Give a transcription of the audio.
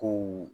Kow